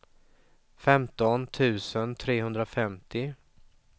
femton tusen trehundrafemtio